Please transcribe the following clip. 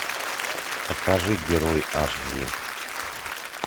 покажи герой аш ди